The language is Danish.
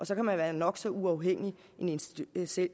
så kan man være nok så uafhængig en institution